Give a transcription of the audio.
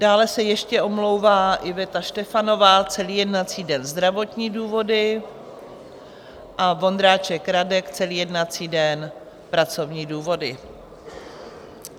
Dále se ještě omlouvá Iveta Štefanová celý jednací den - zdravotní důvody a Vondráček Radek celý jednací den - pracovní důvody.